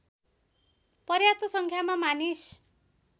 पर्याप्त सङ्ख्यामा मानिस